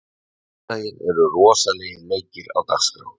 Á sunnudaginn eru rosalegir leikir á dagskrá.